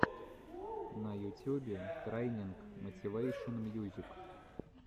на ютюбе трайнинг мотивэйшен мьюзик